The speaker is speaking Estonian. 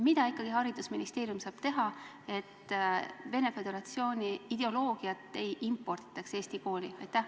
Mida ikkagi saab haridusministeerium teha, et Venemaa Föderatsiooni ideoloogiat ei imporditaks Eesti kooli?